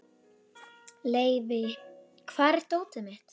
Leivi, hvar er dótið mitt?